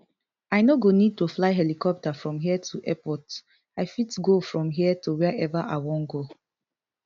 i no go need to fly helicopter from here to airport i fit go from here to wiaever i wan go